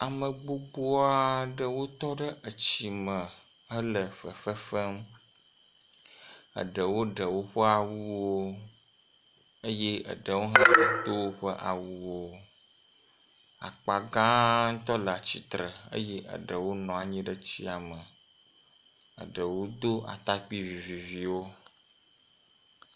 Ame gbogbo aɖewo wotɔ etsi me hele fefe fem, eɖewo ɖe woƒe awuwo eye eɖewo do woƒe awuwo. Akpa gãtɔ le atsitre eye eɖewo nɔ anyi ɖe tsia me. Eɖewo do atakpui viviviwo.